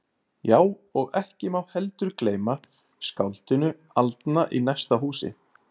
Já, og ekki má heldur gleyma skáldinu aldna í næsta húsi.